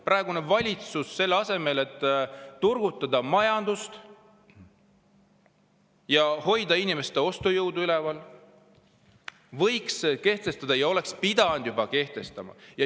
Praegune valitsus peaks selleks, et turgutada majandust ja hoida inimeste ostujõudu üleval, kehtestama ja oleks juba pidanud kehtestama.